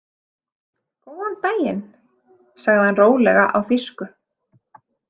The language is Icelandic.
Góðan daginn, sagði hann rólega á þýsku.